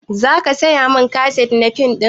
Za ka saya mun kaset na fim ɗin